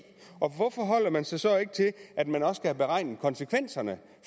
og hvorfor holder man sig så ikke til at man også skal have beregnet konsekvenserne